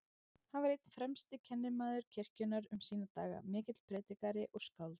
Hann var einn fremsti kennimaður kirkjunnar um sína daga, mikill prédikari og skáld.